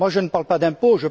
Je ne parle pas d'impôts